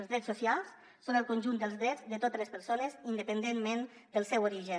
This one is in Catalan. els drets socials són el conjunt dels drets de totes les persones independentment del seu origen